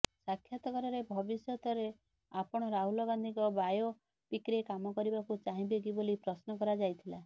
ସାକ୍ଷାତକାରେ ଭବିଷ୍ୟତରେ ଆପଣ ରାହୁଲ ଗାନ୍ଧୀଙ୍କ ବାୟୋପିକ୍ରେ କାମ କରିବାକୁ ଚାହିଁବେ କି ବୋଲି ପ୍ରଶ୍ନ କରାଯାଇଥିଲା